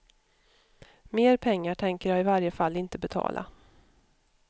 Mer pengar tänker jag i varje fall inte betala.